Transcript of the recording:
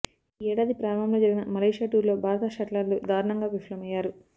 ఈ ఏడాది ప్రారంభంలో జరిగిన మలేషియా టూర్లో భారత షట్లర్లు దారుణంగా విఫలమయ్యారు